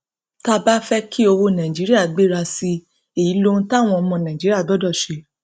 tá a bá fẹ kí owó náírà gbéra sí i èyí lohun táwọn ọmọ nàìjíríà gbọdọ ṣe